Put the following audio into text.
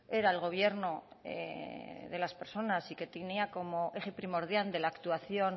era el gobierno de las personas y que tenía como eje primordial de la actuación